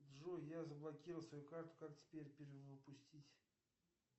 джой я заблокировал свою карту как теперь перевыпустить